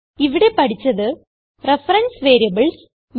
ഇവിടെ പഠിച്ചത് reference variables